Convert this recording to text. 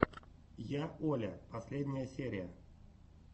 я оля последняя серия